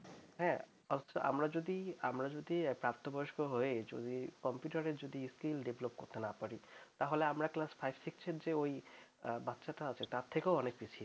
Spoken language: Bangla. হ্যাঁ অথচ আমরা যদি আমরা যদি প্রাপ্তবয়স্ক হয়ে কম্পিউটার এর যদি skill develop করতে না পারি তাহলে আমরা class five six এর যে ওই বাচ্চাটা আছে তার থেকেও অনেক পিছিয়ে